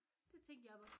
Det tænkte jeg